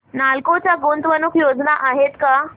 नालको च्या गुंतवणूक योजना आहेत का